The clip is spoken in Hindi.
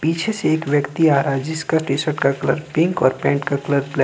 पीछे से एक व्यक्ति आ रहा है जिसका टीशर्ट का कलर पिंक और पैंट का कलर --